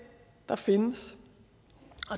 der findes